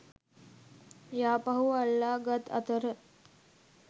යාපහුව අල්ලා ගත් අතර